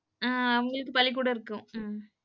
ஆஹ் அவங்களுக்கு பள்ளிக்கூடம் இருக்கும். உம்